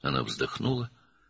O, nəfəs aldı,